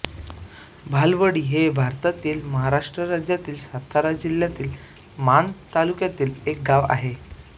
भालावडी हे भारतातील महाराष्ट्र राज्यातील सातारा जिल्ह्यातील माण तालुक्यातील एक गाव आहे